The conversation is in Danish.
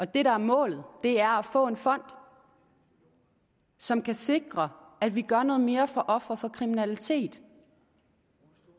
det der er målet er at få en fond som kan sikre at vi gør noget mere for ofre for kriminalitet